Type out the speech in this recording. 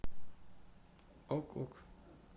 ок ок